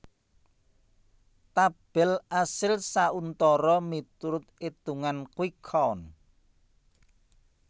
Tabel asil sauntara miturut itungan quick count